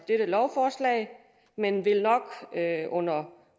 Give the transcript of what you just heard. dette lovforslag men vil nok under